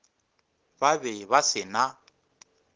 ba be ba se na